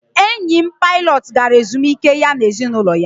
enyi m pilot gara ezumike ya na ezinụlọ ya